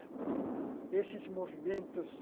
Esses movimentos,